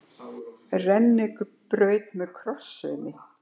Rennibraut með krosssaumi.